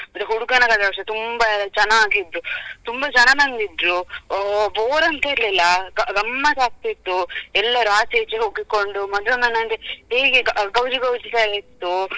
ಮತ್ತೆ ಹಡುಗನ ಕಡೆಯವರು ತುಂಬ ಜನ ಆಗಿದ್ದರು ತುಂಬ ಜನ ಬಂದಿದ್ರು bore ಅಂತ ಇರ್ಲಿಲ್ಲಾ ಗ~ ಗಮ್ಮತ್ ಆಗ್ತಿತ್ತು ಎಲ್ಲರು ಆಚೆ ಈಚೆ ಹೋಗಿಕೊಂಡು ಮದ್ವೆ ಮನೆ ಅಂದ್ರೆ ಹೇಗೆ ಗ~ ಗೌಜಿ ಗೌಜಿ ಆಗಿತ್ತು.